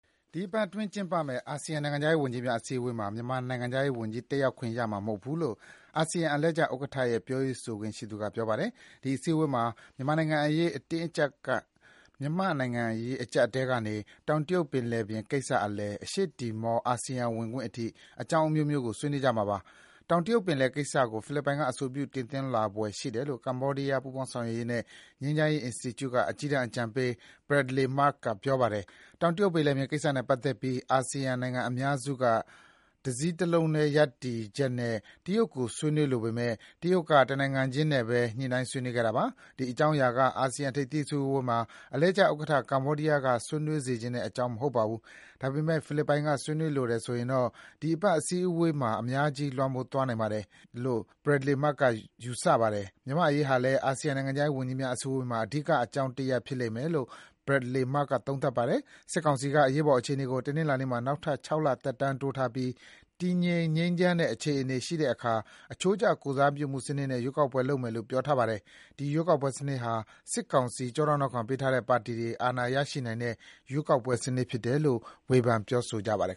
ဒီအပတ်အတွင်းကျင်းပမယ့် အာဆီယံနိုင်ငံခြားရေးဝန်ကြီးများ အစည်းအဝေးမှာ မြန်မာနိုင်ငံခြားရေးဝန်ကြီး တက်ရောက်ခွင့်ရမှာမဟုတ်ဘူးလို့ အာဆီယံ အလှည့်ကျဥက္ကဋ္ဌရဲ့ ပြောရေးဆိုခွင့်ရှိသူက ပြောပါတယ်။ ဒီ အစည်းအဝေးမှာ မြန်မာ့နိုင်ငံရေးအကျပ်အတည်းကနေ တောင်တရုတ်ပင်လယ်ကိစ္စအလယ်၊ အရှေ့တီမော အာဆီယံဝင်ခွင့်အထိ အကြောင်းအမျိုးမျိုး ကို ဆွေးနွေးကြမှာ ဖြစ်ပါတယ်။ တောင်တရုတ်ပင်လယ်ကိစ္စကို ဖိလစ်ပိုင်က အဆိုပြုတင်သွင်းလာဖွယ်ရှိတယ်လို့ ကမ္ဘောဒီးယား ပူးပေါင်းဆောင်ရွက်ရေးနဲ့ ငြိမ်းချမ်းရေးအင်စတီကျုက အကြီးတန်း အကြံပေး Bradley Murg က ထင်မြင်ပါတယ်။ တောင်တရုတ်ပင်လယ်ပြင်ကိစ္စနဲ့ပတ်သက်ပြီး အာဆီယံနိုင်ငံအများစုက တစည်းတလုံး ရပ်တည်ချက်နဲ့ တရုတ်ကို ဆွေးနွေးလိုပေမယ့် တရုတ်က တနိုင်ငံချင်းနဲ့ပဲ ညှိုနှိုင်းဆွေးနွေးခဲ့တာပါ။ ဒီ အကြောင်းအရာက အာဆီယံ ထိပ်သီး အစည်းအဝေးမှာ အလှည့်ကျဥက္ကဋ္ဌ ကမ္ဘာဒီးယားက ဆွေးနွေးစေချင်တဲ့အကြောင်း မဟုတ်ပါဘူး။ ဒါပေမယ့် ဖိလစ်ပိုင်က ဆွေးနွေးလိုတယ်ဆိုရင်တော့ ဒီအပတ်အစည်းအဝေးမှာ အများကြီး လွှမ်းမိုးသွားနိုင်ပါတယ်- လို့ Bradley Murg က ယူဆပါတယ်။ မြန်မာ့အရေးဟာလည်း အာဆီယံ နိုင်ငံခြားရေးဝန်ကြီးများအစည်းအဝေးမှာ အဓိက အကြောင်းတရပ် ဖြစ်လိမ့်မယ်လို့ Bradley Murg က သုံးသပ်ပါတယ်။ စစ်ကောင်စီက အရေးပေါ်အခြေအနေကို တနင်္လာနေ့မှာ နောက်ထပ် ၆ လ သက်တမ်းတိုးထားပြီး တည်ငြိမ် ငြိမ်းချမ်းတဲ့အခြေအနေရှိတဲ့အခါ အချိုးကျ ကိုယ်စားပြုမှုစနစ်နဲ့ ရွေးကောက်ပွဲလုပ်မယ်လို့ ပြောထားပါတယ်။ ဒီ ရွေးကောက်ပွဲစနစ်ဟာ စစ်ကောင်စီ ကျောထောက်နောက်ခံပေးထားတဲ့ ပါတီတွေ အာဏာရရှိနိုင်တဲ့ ရွေးကောက်ပွဲစနစ်ဖြစ်တယ်လို့ ဝေဖန်သူတွေက ဆိုကြပါတယ်